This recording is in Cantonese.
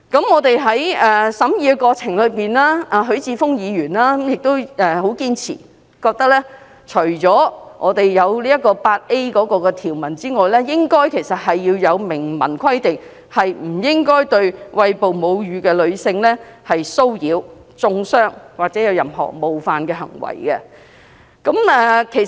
我們在審議過程中，許智峯議員亦很堅持，認為除了新訂第 8A 條外，應該也要明文規定不應對餵哺母乳的女性作出騷擾、中傷或任何冒犯的行為。